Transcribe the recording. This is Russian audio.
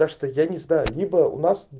так что я не знаю либо у нас